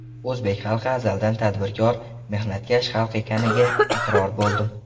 O‘zbek xalqi azaldan tadbirkor, mehnatkash xalq ekaniga iqror bo‘ldim.